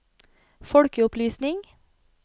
folkeopplysning